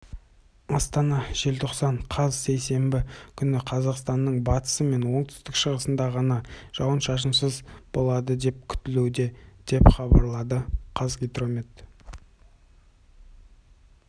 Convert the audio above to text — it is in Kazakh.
астана желтоқсан қаз сейсенбі күні қазақстанның батысы мен оңтүстік-шығысында ғанажауын-шашынсыз болады деп күтілуде деп хабарлады қазгидромет